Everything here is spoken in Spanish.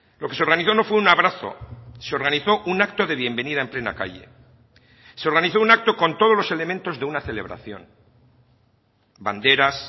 lo que se organizó no fue un abrazo se organizó un acto de bienvenida en plena calle se organizó un acto con todos los elementos de una celebración banderas